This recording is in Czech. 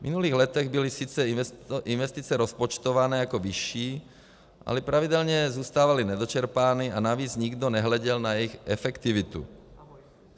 V minulých letech byly sice investice rozpočtované jako vyšší, ale pravidelně zůstávaly nedočerpávány a navíc nikdo nehleděl na jejich efektivitu.